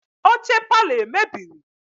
Oche parlour emebiri?